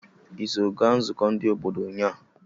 Iso ga nzụkọ ndi obodo unya?